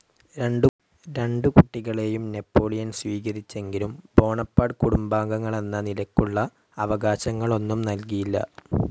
രണ്ടു കുട്ടികളേയും നാപ്പോളിയൻ സ്വീകരിച്ചെങ്കിലും ബോണപാർട്ട് കുടുംബാംഗങ്ങളെന്ന നിലക്കുള്ള അവകാശങ്ങളൊന്നും നല്കിയില്ല.